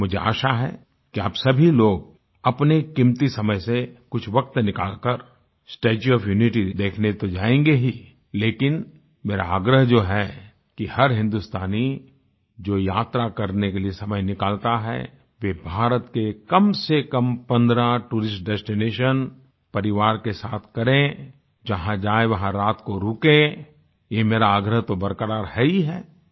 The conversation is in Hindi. मुझे आशा है कि आप सभी लोग अपने कीमती समय से कुछ वक़्त निकाल कर स्टेच्यू ओएफ यूनिटी देखने तो जाएंगे ही लेकिन मेरा आग्रह जो है कि हर हिन्दुस्तानी जो यात्रा करने के लिए समय निकालता है वह भारत के कम से कम 15 टूरिस्ट डेस्टिनेशंस परिवार के साथ करें जहाँ जाए वहाँ रात को रुकें यह मेरा आग्रह तो बरक़रार है ही है